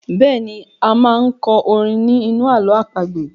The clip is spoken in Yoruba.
Bẹ́ẹ̀ni,a máa n kọ orin ní inú ààlọ́ àpagbè